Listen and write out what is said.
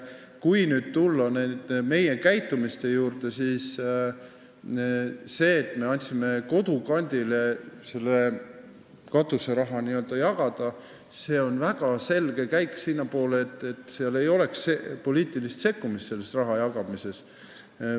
Kui nüüd tulla meie käitumise juurde, siis see, et me andsime Kodukandile katuseraha jagada, on väga selge käik sinnapoole, et ei oleks poliitilist sekkumist sellesse rahajagamisse.